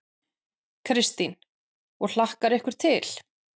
Kristín: Og hlakkar ykkur til?